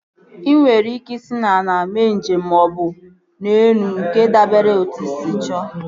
Ị nwere ike isi n'ala mee njem maọbụ n'elu nke dabere na etu ị sị chọọ